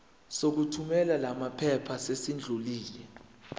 sokuthumela lamaphepha sesidlulile